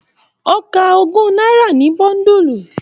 O ká ogún náírà ní bóndulu.